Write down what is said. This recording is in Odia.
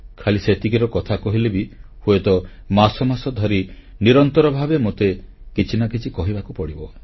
ଖାଲି ସେତିକିର କଥା କହିଲେ ବି ହୁଏତ ମାସ ମାସ ଧରି ନିରନ୍ତର ଭାବେ ମୋତେ କିଛି ନା କିଛି କହିବାକୁ ପଡ଼ିବ